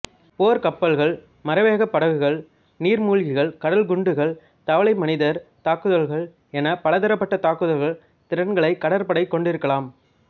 போர்க் கப்பல்கள் மறைவேகப்படகுகள் நீர்மூழ்கிகள் கடல்குண்டுகள் தவளைமனிதர் தாக்குதல்கள் என பலதரப்பட்ட தாக்குல் திறன்களை கடற்படை கொண்டிருக்கலாம்